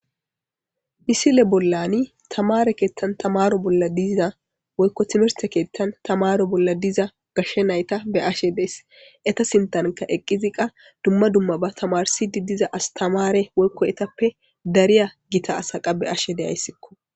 Misile bollani tamare keettan tamaro bolla diza woykko timirte keettan tamaro bolla diza gashshe nayta be ashe dees eta sintanka eqqiziqa dumma dumma ba tamarsidi diza as tamare woykko etappe dariya gita asaqa be ashe deyayssikko.